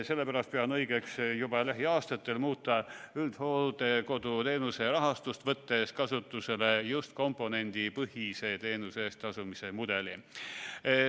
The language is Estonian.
Sellepärast pean õigeks juba lähiaastatel muuta üldhooldekoduteenuse rahastust, võttes kasutusele just komponendipõhise teenuse eest tasumise mudeli.